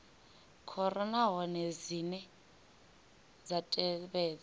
khoro nahone dzine dza tevhedza